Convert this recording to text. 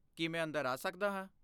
ਕੀ ਮੈ ਅੰਦਰ ਆ ਸਕਦਾ ਹਾਂ?